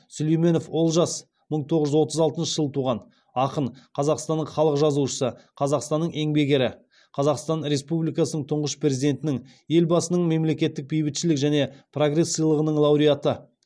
сүлейменов олжас мың тоғыз жүз отыз алтыншы жылы туған ақын қазақстанның халық жазушысы қазақстанның еңбек ері қазақстан республикасы тұңғыш президентінің елбасының мемлекеттік бейбітшілік және прогресс сыйлығының лауреаты